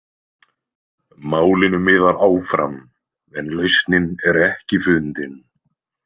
Málinu miðar áfram en lausnin er ekki fundin.